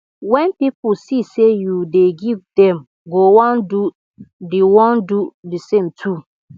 wen pipo see say yu dey give dem go wan do the wan do the same too